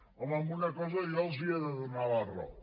home en una cosa jo els he de donar la raó